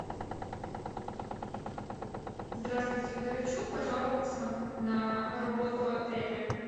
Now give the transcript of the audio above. здравствуйте хочу пожаловаться на работу отеля